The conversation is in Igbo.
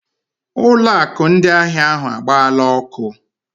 Ụlọ akụ ndị ahịa ahụ agbaala ọkụ.